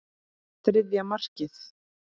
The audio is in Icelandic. Þriðja markið.